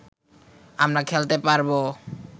আমরা খেলতে পারবো